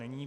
Není.